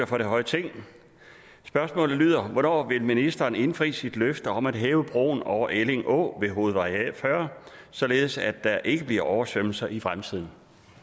for det høje ting spørgsmålet lyder hvornår vil ministeren indfri sit løfte om at hæve broen over elling å ved hovedvej fyrre således at der ikke bliver oversvømmelser i fremtiden